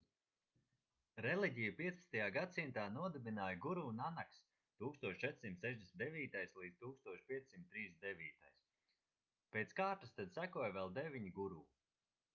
reliģiju 15. gadsimtā nodibināja guru nanaks 1469–1539. pēc kārtas tad sekoja vēl deviņi guru